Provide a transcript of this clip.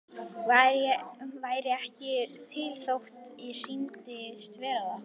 Væri ekki til þótt ég sýndist vera það.